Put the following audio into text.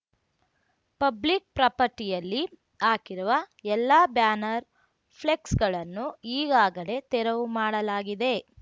public ಪ್ರಾಪರ್ಟಿಯಲ್ಲಿ ಹಾಕಿರುವ ಎಲ್ಲಾ ಬ್ಯಾನರ್ ಫ್ಲೆಕ್ಸ್ ಗಳನ್ನು ಈಗಾಗಲೇ ತೆರವು ಮಾಡಲಾಗಿದೆ